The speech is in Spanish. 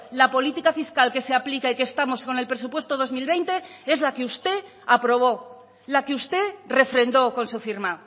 la política fiscal que se aplica y que estamos con el presupuesto dos mil veinte es la que usted aprobó la que usted refrendó con su firma